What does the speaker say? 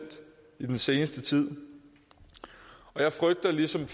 i den seneste tid jeg frygter lige som